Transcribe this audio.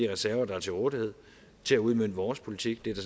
reserverne der er til rådighed til at udmønte vores politik det